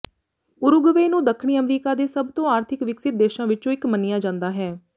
Uruguay ਨੂੰ ਦੱਖਣੀ America ਦੇ ਸਭ ਤੋਂ ਆਰਥਿਕ ਵਿਕਸਤ ਦੇਸ਼ਾਂ ਵਿੱਚੋਂ ਇੱਕ ਮੰਨਿਆ ਜਾਂਦਾ ਹੈ